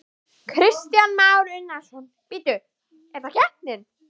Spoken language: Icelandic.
Kristján Már Unnarsson: Bíddu, er það keppnin?